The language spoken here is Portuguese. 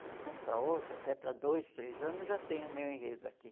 De um ano para outro, até para dois, três anos, já tem o meu enredo aqui.